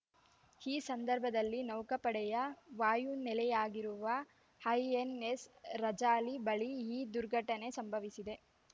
ಈ ಸಂದರ್ಭದಲ್ಲಿ ನೌಕಾಪಡೆಯ ವಾಯುನೆಲೆಯಾಗಿರುವ ಐಎನ್‌ಎಸ್‌ ರಜಾಲಿ ಬಳಿ ಈ ದುರ್ಘಟನೆ ಸಂಭವಿಸಿದೆ